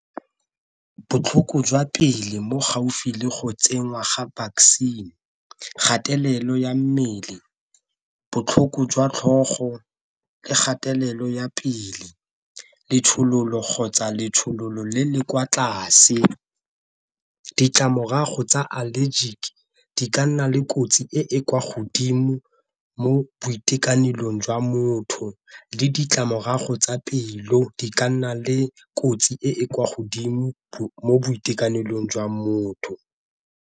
Botlhoko jwa pele mo gaufi le go tsenngwa ga vaccine, kgatelelo ya mmele, botlhoko jwa tlhogo, le kgatelelo ya pele, letshololo kgotsa letshololo le le kwa tlase. Ditlamorago tsa allergic ke di ka nna le kotsi e e kwa godimo mo boitekanelong jwa motho le ditlamorago tsa pelo di ka nna le kotsi e e kwa godimo mo boitekanelong jwa motho.